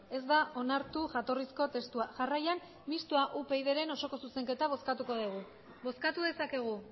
ez da onartu jatorrizko testua jarraian mistoa upydren osoko zuzenketa bozkatuko dugu bozkatu dezakegu